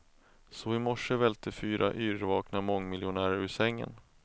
Så i morse välte fyra yrvakna mångmiljonärer ur sängen.